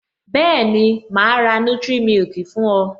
Bẹẹni, ma ra nutric milk fún o